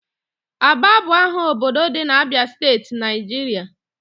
Aba bụ aha obodo dị na Abịa steeti, Naịjirịa